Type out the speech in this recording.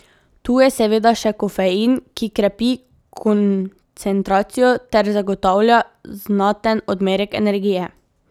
Tu je seveda še kofein, ki krepi koncentracijo ter zagotavlja znaten odmerek energije.